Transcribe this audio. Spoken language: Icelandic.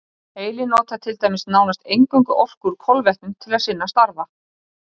Heilinn notar til dæmis nánast eingöngu orku úr kolvetnum til sinna starfa.